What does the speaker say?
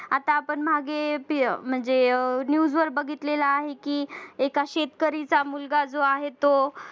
आता आपण मागे news वर बघितलेलं आहे कि एका शेतकरीचा मुलगा जो आहे तो